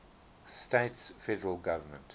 states federal government